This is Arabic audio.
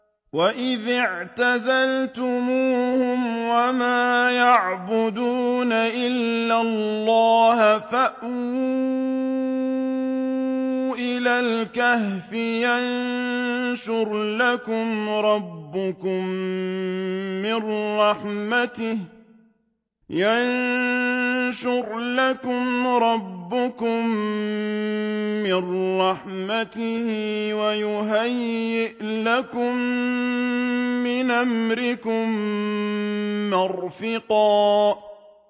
وَإِذِ اعْتَزَلْتُمُوهُمْ وَمَا يَعْبُدُونَ إِلَّا اللَّهَ فَأْوُوا إِلَى الْكَهْفِ يَنشُرْ لَكُمْ رَبُّكُم مِّن رَّحْمَتِهِ وَيُهَيِّئْ لَكُم مِّنْ أَمْرِكُم مِّرْفَقًا